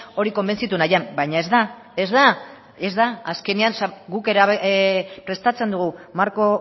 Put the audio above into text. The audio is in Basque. hori konbentzitu nahian baina ez da ez da ez da azkenean guk prestatzen dugu marko